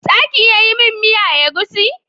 Za ki iya yin miya egusi?